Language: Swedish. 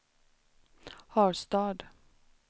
Harstad